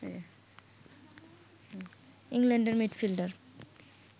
ইংল্যান্ডের মিডফিল্ডার